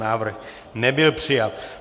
Návrh nebyl přijat.